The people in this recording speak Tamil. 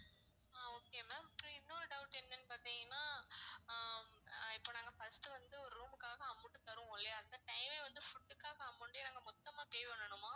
ஆஹ் okay ma'am அப்புறம் இன்னொரு doubt என்னன்னு பாத்தீங்கன்ன ஹம் அஹ் இப்ப நாங்க first வந்து ஒரு room க்காக amount தருவோம் இல்லையா அந்த time ஏ வந்து food க்காக amount யும் நாங்க மொத்தமா pay பண்ணனுமா